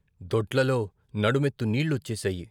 దొడ్లలో నడుమెత్తు నీళ్ళు వచ్చేశాయి.